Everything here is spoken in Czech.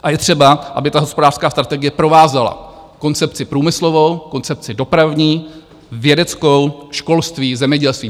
A je třeba, aby ta hospodářská strategie provázela koncepci průmyslovou, koncepci dopravní, vědeckou, školství, zemědělství.